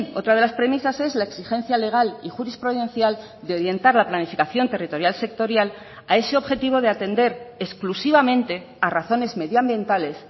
otra de las premisas es la exigencia legal y jurisprudencial de orientar la planificación territorial sectorial a ese objetivo de atender exclusivamente a razones medioambientales